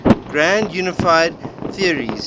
grand unified theories